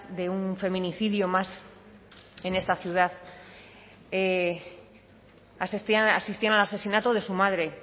de un feminicidio más en esta ciudad asistían al asesinato de su madre